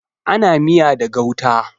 Ana miya da gauta.